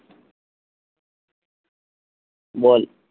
বল